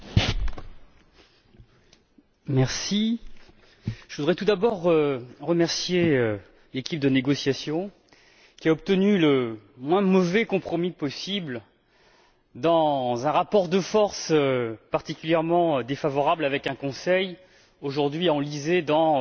Monsieur le Président, je voudrais tout d'abord remercier l'équipe de négociation, qui a obtenu le moins mauvais compromis possible dans un rapport de force particulièrement défavorable, avec un Conseil aujourd'hui enlisé dans l'économie des bouts de chandelle